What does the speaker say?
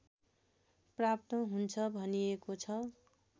प्राप्त हुन्छ भनिएको छ